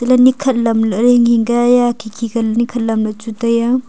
ni khat lamlaye hinghing ka hai khikhi ka ni khat lamla chu taiya.